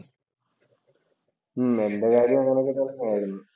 ഉം എന്‍റെ കാര്യോ അങ്ങനെ തന്നെയായിരുന്നു.